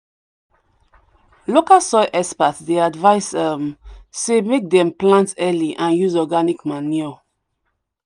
local soil experts dey advice um say make dem plant early anduse organic manure